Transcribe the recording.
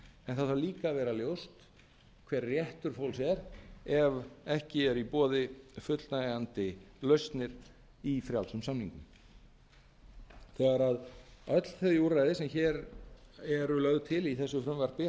en það þarf líka að vera ljóst hver réttur fólks er ef ekki er í boði fullnægjandi lausnir í frjálsum samningum þegar öll þau úrræði sem hér eru lögð til í þessu frumvarpi